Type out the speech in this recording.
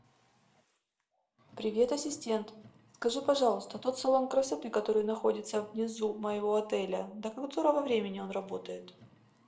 привет ассистент скажи пожалуйста тот салон красоты который находится внизу моего отеля до которого времени он работает